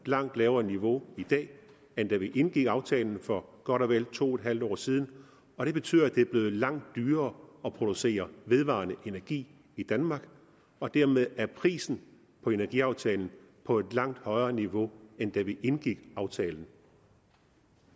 et langt lavere niveau i dag end da vi indgik aftalen for godt og vel to en halv år siden og det betyder at det er blevet langt dyrere at producere vedvarende energi i danmark og dermed er prisen på energiaftalen på et langt højere niveau end da vi indgik aftalen